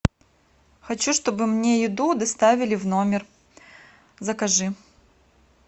хочу чтобы мне еду доставили в номер закажи